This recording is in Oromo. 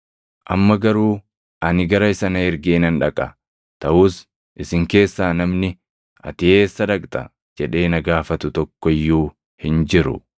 “Amma garuu ani gara isa na ergee nan dhaqa; taʼus isin keessaa namni, ‘Ati eessa dhaqxa?’ jedhee na gaafatu tokko iyyuu hin jiru.